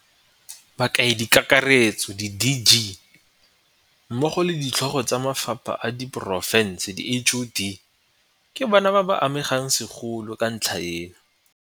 Bakaedikakaretso, di-DG, mmogo le Ditlhogo tsa Mafapha a Diporofense, di-HoD, ke bona ba ba amegang segolo ke ntlha eno.